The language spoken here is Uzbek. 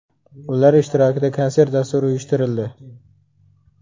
Ular ishtirokida konsert dasturi uyushtirildi.